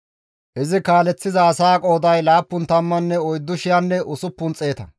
Izi kaaleththiza asaa qooday 74,600.